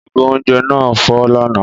Ìgò oúnjẹ náà fọ́ lánàá